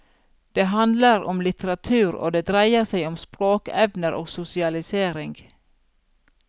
Det handler om litteratur, og det dreier seg om språkevner og sosialisering.